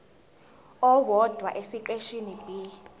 owodwa esiqeshini b